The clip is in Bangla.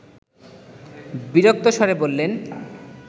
বিরক্ত স্বরে বললেন